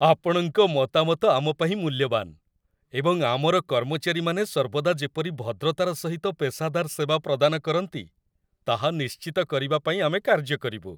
ଆପଣଙ୍କ ମତାମତ ଆମପାଇଁ ମୂଲ୍ୟବାନ, ଏବଂ ଆମର କର୍ମଚାରୀମାନେ ସର୍ବଦା ଯେପରି ଭଦ୍ରତାର ସହିତ ପେସାଦାର ସେବା ପ୍ରଦାନ କରନ୍ତି, ତାହା ନିଶ୍ଚିତ କରିବା ପାଇଁ ଆମେ କାର୍ଯ୍ୟ କରିବୁ।